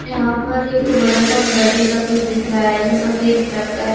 यहां पर एक बड़ा सा घर जैसा कुछ दिख रहा है जो सफेद कलर का है।